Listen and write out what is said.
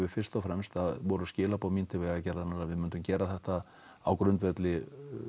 fyrst og fremst að skilabðin mín til vegagerðarinnar voru að við myndum gera þetta á grundvelli